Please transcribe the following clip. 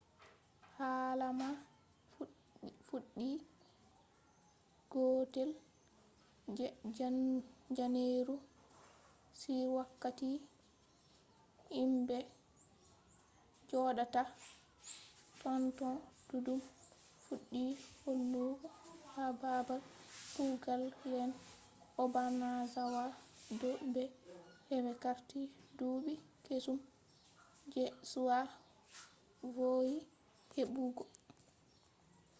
hala man fuddi 1st je janeru on wakkati himbe jodata totton duddum fuddi holugo ha babal kugal lene obanazawa do be hebai carti duubi kesum je be vowi hebugo